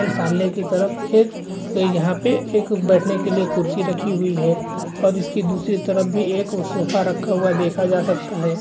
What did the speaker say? सामने की तरफ एक यहाँ पे एक बैठने के लिए कुर्सी रखी हुई है और इसके दूसरी तरफ भी एक सोफा रखा हुआ देखा जा सकता है।